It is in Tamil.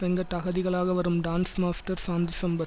வெங்கட் அகதிகளாக வரும் டான்ஸ் மாஸ்டர் சாந்தி சம்பத்